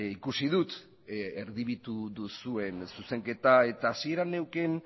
ikusi dut erdibitu duzuen zuzenketa eta hasieran neukan